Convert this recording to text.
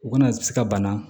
U kana se ka bana